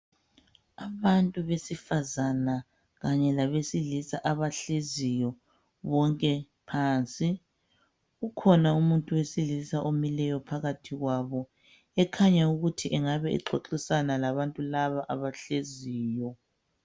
Abantu besifazana kanye labesilisa abahleziyo bonke phansi. Kukhona umuntu wesilisa omileyo phakathi kwabo, ekhanya ukuthi engabe exoxisana labantu laba abahleziyo.